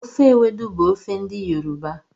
Ofe ewedu bụ ofe ndị yoroba